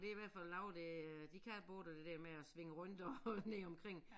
Det i hvert fald lavet det øh de kan både det der med at svinge rundt og ned omkring